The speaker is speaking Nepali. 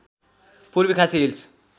पूर्वी खासी हिल्स